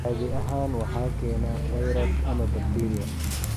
Caadi ahaan waxa keena fayras ama bakteeriya.